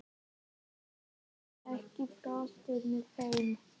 Apríl, ekki fórstu með þeim?